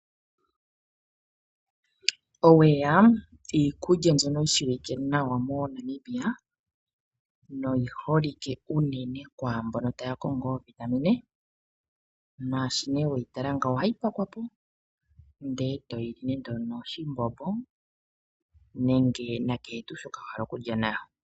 Oweya iikulya mbyono yi shiwike nawa mo Namibia no yiholike uunene kwaamboka taya kongo iitungithi luntu nashi ne weyitala ngawo ohayi pakwapo nde toyili nenge no shimbombo nenge na kehe shoka to vulu okulitha nasho.